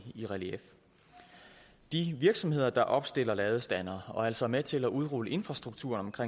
relief de virksomheder der opstiller ladestandere og altså er med til at udrulle infrastrukturen for